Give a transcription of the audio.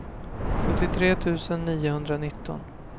sjuttiotre tusen niohundranitton